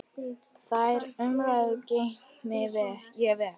Þær umræður geymi ég vel.